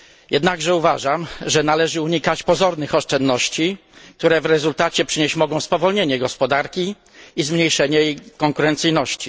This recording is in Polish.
Jednakże uważam, że należy unikać pozornych oszczędności, które w rezultacie przynieść mogą spowolnienie gospodarki i zmniejszenie jej konkurencyjności.